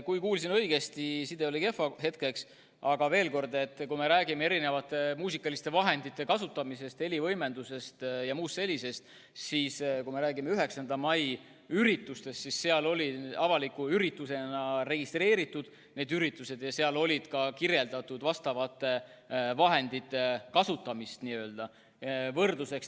Kui ma kuulsin õigesti – side oli kehv hetkeks –, siis veel kord: kui me räägime erinevate muusikaliste vahendite kasutamisest, helivõimendusest ja muust sellisest, siis kui me räägime 9. mai üritustest, siis need olid avalike üritustena registreeritud ja oli ka kirjeldatud muusikavahendite kasutamist.